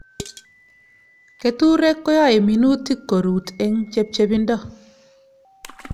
Keturek koyae minutik ko rut eng' chepchepindo